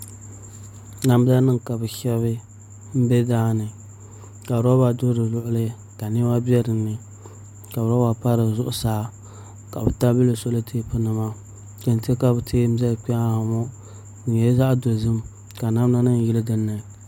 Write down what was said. Namda nim ka bi shɛbi n bɛ daani ka roba do di luɣuli ka niɛma bɛ dinni ka roba pa di zuɣusaa ka bi tabili li solɛtɛp nima kɛntɛ ka bi tiɛ n zali kpɛ ha ŋɔ di nyɛla zaɣ dozim ka namda nim yili dinni